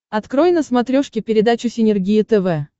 открой на смотрешке передачу синергия тв